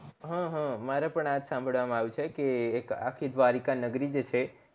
હ હ મારે પણ આ સંભાળવામાં આવ્યું છે કે એક આખી દ્વારિકા નગરી જે છે